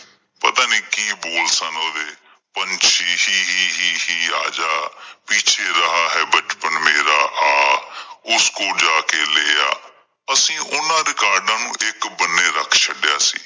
ਪਤਾ ਨੀ ਕੀ ਬੋਲ ਸਨ ਉਹਦੇ, ਪੰਛੀ ਛੀ ਛੀ ਹੀ ਹੀ ਆ ਜਾ, ਪੀਛੇ ਰਹਾਂ ਹੈ ਬਚਪਨ ਮੇਰਾ ਆਹ ਉਸਕੋਂ ਜਾ ਕਿ ਲੈ ਆਹ, ਅਸੀਂ ਉਹਨਾਂ records ਨੂੰ ਇੱਕ ਬੰਨੇ ਰੱਖ ਛੱਡਿਆਂ ਸੀ।